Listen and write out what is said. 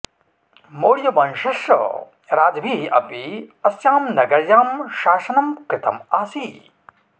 मौर्यवंशस्य राजभिः अपि अस्यां नगर्यां शासनं कृतम् आसीत्